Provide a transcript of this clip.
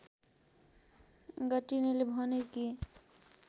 गर्टिनले भने कि